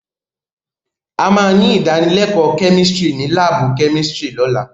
A máa ní ìdánilẹ́kọ̀ọ́ chemistry ní láàbù chemistry lọ́la.